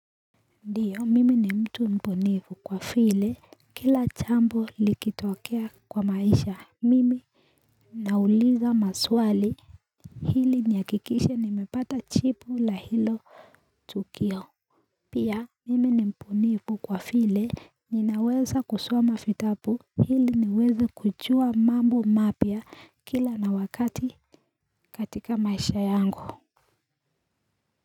Ndiyo mimi ni mtu mponevu kwa vile kila jambo likitokea kwa maisha mimi nauliza maswali hili nihakikishe nimepata jipu la hilo tukio pia mimi ni mpunivu kwa vile ninaweza kusoma vitabu ili niweza kujua mambo mapya kila na wakati katika maisha yangu.